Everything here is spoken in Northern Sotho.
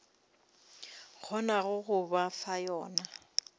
kgonago go ba fa yona